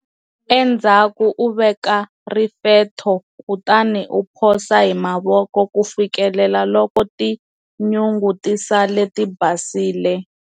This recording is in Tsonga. Endzhaku u veka rifetho kutani u phosa hi mavoko ku fikela loko tinyungu ti sala ti basile.